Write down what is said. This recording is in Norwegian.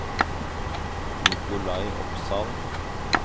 Nikolai Opsahl